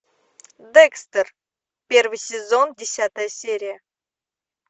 декстер первый сезон десятая серия